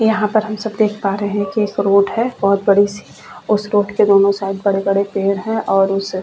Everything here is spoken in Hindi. यहाँ पर हम सब देख पा रहे है की एक रोड है बहोत बड़ी सी और उस रोड के दोनों साईड बड़े-बड़े पेड़ है और उस--